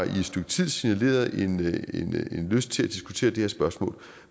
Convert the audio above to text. signaleret en lyst til at diskutere det her spørgsmål